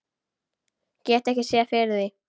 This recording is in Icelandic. Get ekki séð fyrir því.